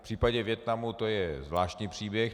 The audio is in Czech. V případě Vietnamu to je zvláštní příběh.